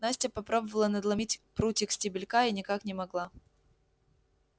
настя попробовала надломить прутик стебелька и никак не могла